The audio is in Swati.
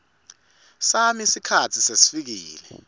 sami sikhatsi sesifikile